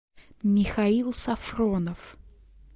михаил сафронов